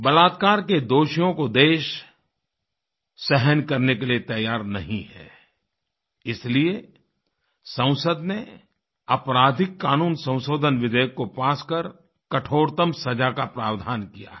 बलात्कार के दोषियों को देश सहन करने के लिए तैयार नहीं है इसलिए संसद ने आपराधिक कानून संशोधन विधेयक को पास कर कठोरतम सज़ा का प्रावधान किया है